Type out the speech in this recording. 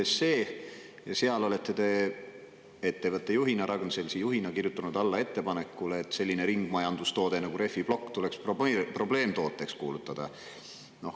Teie olete ettevõtte juhina, Ragn-Sellsi juhina, kirjutanud alla ettepanekule, et selline ringmajandustoode nagu rehviplokk tuleks kuulutada probleemtooteks.